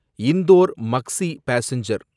Indore Maksi passenger